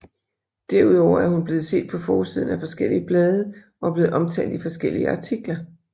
Derudover er hun blevet set på forsiden af forskellige blade og er blevet omtalt i forskellige artikler